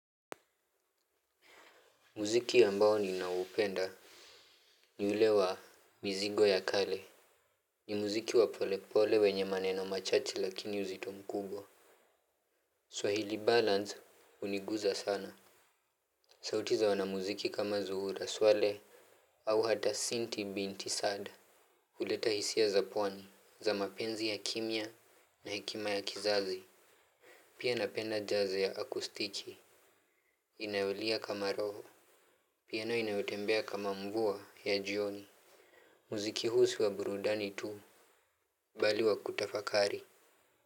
Muziki ambao niinaupenda ni ule wa mizigo ya kale. Ni muziki wa pole pole wenye maneno machache lakini uzito mkubwa Swahili balance uniguza sana. Sauti za wanamuziki kama zuhura swale au hata sinti binti sad huleta hisia za pwani za mapenzi ya kimya na hekima ya kizazi. Pia napenda jaze ya akustiki. Inaolia kama roho. Pia na inayotembea kama mvua ya jioni. Muziki huu si wa burudani tu bali wa kutafakari.